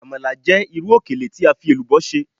Amala jẹ iru okele fi elubo ṣe